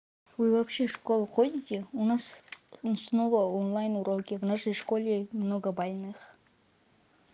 вы вообще в школу ходите у нас вот снова онлайн-уроки в нашей школе много больных